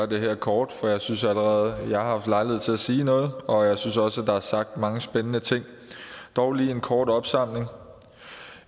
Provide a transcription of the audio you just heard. det her kort for jeg synes allerede jeg har haft lejlighed til at sige noget og jeg synes også at der er sagt mange spændende ting dog lige en kort opsamling